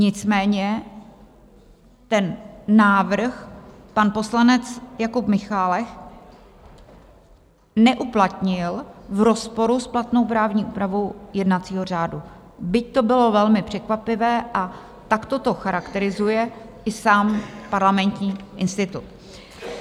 Nicméně ten návrh pan poslanec Jakub Michálek neuplatnil v rozporu s platnou právní úpravu jednacího řádu, byť to bylo velmi překvapivé, a takto to charakterizuje i sám Parlamentní institut.